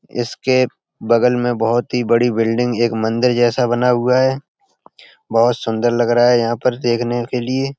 इसके बगल में बहुत ही बड़ी बिल्डिंग एक मंदिर जैसा बना हुआ है। बहुत सुन्दर लग रहा है यहाँ पर देखने के लिए --